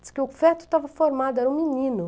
Diz que o feto estava formado, era um menino.